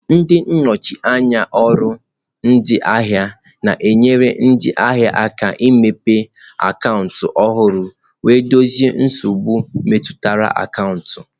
Ndị nnọchi anya ọrụ ndị ahịa na-enyere ndị ahịa aka imepe akaụntụ ọhụrụ wee dozie nsogbu metụtara akaụntụ.